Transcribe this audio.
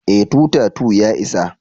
eh, 2 ta 2 ya isa